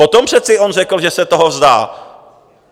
Potom přece on řekl, že se toho vzdá.